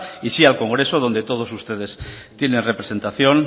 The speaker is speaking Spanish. y sí al congreso donde todos ustedes tienen representación